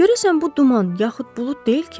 Görəsən bu duman, yaxud bulud deyil ki?